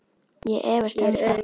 Ég efast um það.